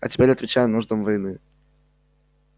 а теперь отвечая нуждам войны